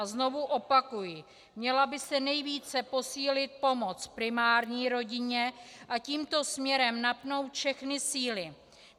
A znovu opakuji, měla by se nejvíce posílit pomoc primární rodině a tímto směrem napnout všechny síly.